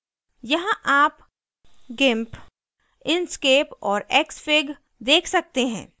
यहाँ आप gimp inkscape और xfig देख सकते हैं